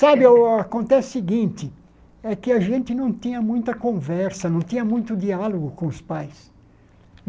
Sabe, o acontece o seguinte, é que a gente não tinha muita conversa, não tinha muito diálogo com os pais.